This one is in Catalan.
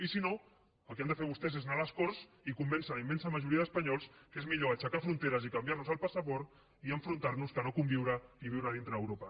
i si no el que han de fer vostès és anar a les corts i convèncer la immensa majoria d’espanyols que és millor aixecar fronteres i canviar nos el passaport i enfrontar nos que no conviure i viure dintre d’europa